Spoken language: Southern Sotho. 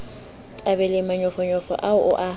thabele manyofonyo ao o a